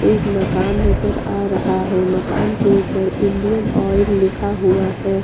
एक मकान नजर आ रहा है मकान के ऊपर इंडियन ऑयल लिखा हुआ है।